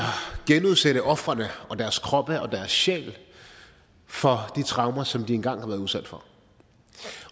genudsætte ofrene og deres krop og deres sjæl for de traumer som de engang har været udsat